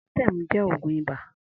Amatem jẹ̀ ógùn ibà